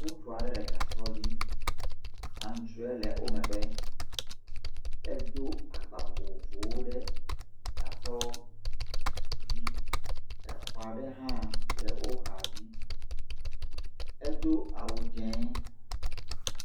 Ŋutsu aɖe le gasɔ dzi, antsrɔe le wo megbe, edo agba vovovowo ɖe gasɔ dzi, exɔ aɖe hã le wo xa dzi, edo awu dzɛ̃.